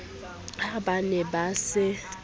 ha ba ne ba se